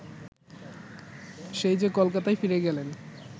সেই যে কলকাতায় ফিরে গেলেন